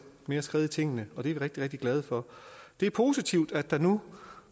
mere skred i tingene og det er vi rigtig rigtig glade for det er positivt at der nu